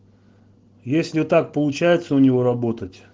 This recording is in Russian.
если так получается у него работать